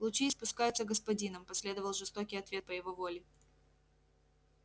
лучи испускаются господином последовал жёсткий ответ по его воле